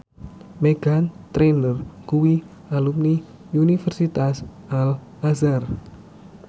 Meghan Trainor kuwi alumni Universitas Al Azhar